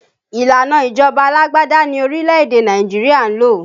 Ìlànà ìjọba alágbádá ni orílẹ̀ èdè Nàìjíríà ń lò